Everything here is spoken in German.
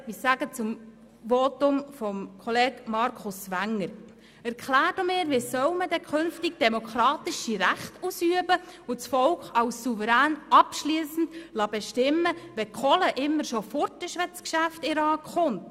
Zum Votum von Kollege Wenger: Erklären Sie mir, wie man künftig demokratische Rechte ausüben und das Volk als Souverän abschliessend bestimmen lassen soll, wenn die Kohle immer bereits weg ist, wenn das Geschäft in den Rat kommt.